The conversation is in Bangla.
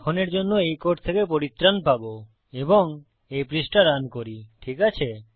এখনের জন্য এই কোড থেকে পরিত্রাণ পাবো এবং এই পৃষ্টা রান করি ঠিক আছে